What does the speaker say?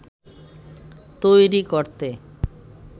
তৈরি করতে